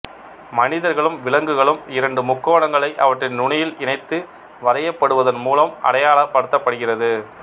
மனிதர்களும் விலங்குகளும் இரண்டு முக்கோணங்களை அவற்றின் நுனியில் இணைத்து வரையப்படுவதன் மூலம் அடையாளப் படுத்தப் படுகிறது